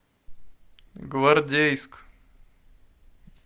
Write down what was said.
гвардейск